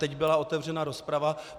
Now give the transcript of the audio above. Teď byla otevřena rozprava.